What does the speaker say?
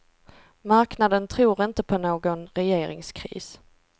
Marknaden tror inte på någon regeringskris.